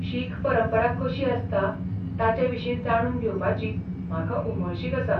शीख परंपरा कशी आसता ताचेविशीं जाणून घेवपाची म्हाका उमळशीक आसा.